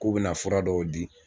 K'u bɛna fura dɔw di.